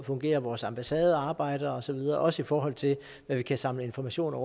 fungerer at vores ambassade arbejder og så videre også i forhold til hvad vi kan samle af informationer